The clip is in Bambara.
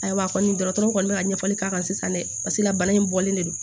Ayiwa kɔni dɔgɔtɔrɔ kɔni bɛ ka ɲɛfɔli k'a kan sisan dɛ paseke la bana in bɔlen de don